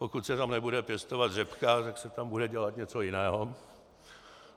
Pokud se tam nebude pěstovat řepka, tak se tam bude dělat něco jiného.